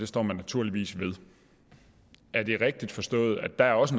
står man naturligvis ved er det rigtigt forstået at der også